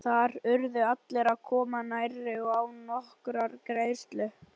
Þar urðu allir að koma nærri og án nokkurrar greiðslu.